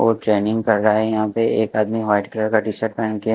वो ट्रेनिंग कर रहा है यहाँ पे एक आदमी व्हाइट कलर का टी शर्ट पहन के --